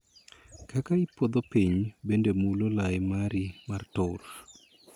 Kaka ipodho piny bende mulo lai mari mar tur.